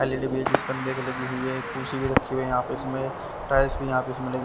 L E D भी एक इस पर्दे को लगी हुई है कुर्सी भी रखी हुई है यहा पे इसमे टाइल्स भी यहा पे इसमे लगे--